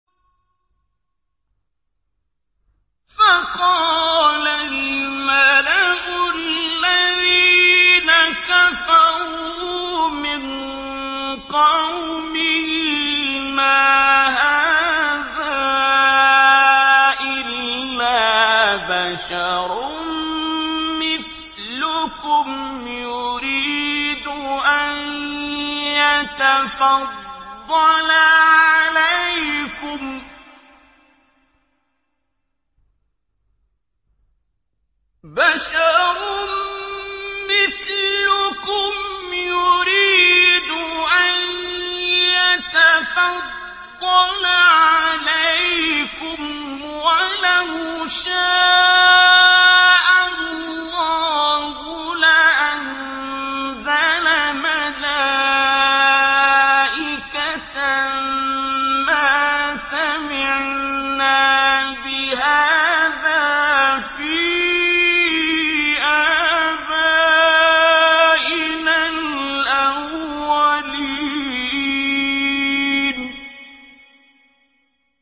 فَقَالَ الْمَلَأُ الَّذِينَ كَفَرُوا مِن قَوْمِهِ مَا هَٰذَا إِلَّا بَشَرٌ مِّثْلُكُمْ يُرِيدُ أَن يَتَفَضَّلَ عَلَيْكُمْ وَلَوْ شَاءَ اللَّهُ لَأَنزَلَ مَلَائِكَةً مَّا سَمِعْنَا بِهَٰذَا فِي آبَائِنَا الْأَوَّلِينَ